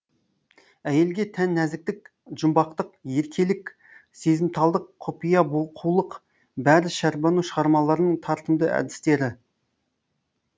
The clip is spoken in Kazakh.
әйелге тән нәзіктік жұмбақтық еркелік сезімталдық құпия қулық бәрі шәрбану шығармаларының тартымды әдістері